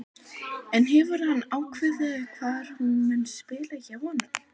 En hefur hann ákveðið hvar hún mun spila hjá honum?